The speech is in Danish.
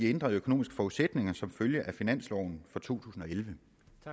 ændrede økonomiske forudsætninger som følger af finansloven for 2011